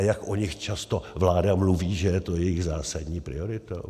A jak o nich často vláda mluví, že je to jejich zásadní prioritou?